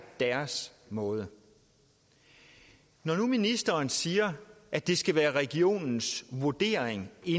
deres måde når nu ministeren siger at det skal være regionens vurdering i